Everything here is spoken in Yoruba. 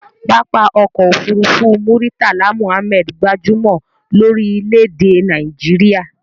Pápá ọkọ òfúrúúfú Muritala Muhammad gbajúmò lórí lédè ẹ Naijiria